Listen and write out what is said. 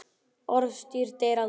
Orðstír deyr aldrei.